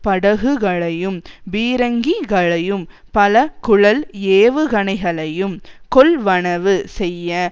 படகுகளையும் பீரங்கிகளையும் பலகுழல் ஏவுகணைகளையும் கொள்வனவு செய்ய